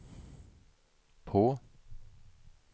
på